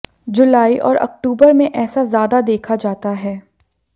जुलाई और अक्टूबर में ऐसा ज्यादा देखा जाता है